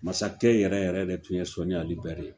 Masakɛ yɛrɛ yɛrɛ de tun ye Sɔni Ali bɛri ye!